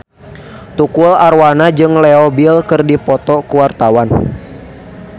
Tukul Arwana jeung Leo Bill keur dipoto ku wartawan